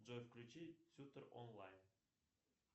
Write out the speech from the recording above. джой включи шутер онлайн